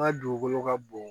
N ka dugukolo ka bon